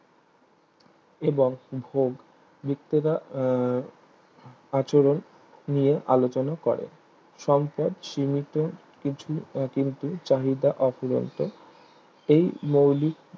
এবং ভোগ বৃটেকা আহ আচরণ নিয়ে আলোচনা করে সম্পদ সীমিত কিছু কিন্তু চাহিদা অফুরন্ত এই মৌলিক